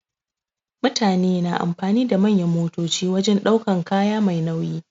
Mutane na amfani da manyan motoci wajen ɗaukan kaya Mai nauyi.